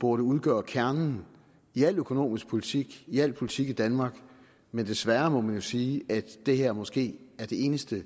burde udgøre kernen i al økonomisk politik i al politik i danmark men desværre må man jo sige at det her måske er det eneste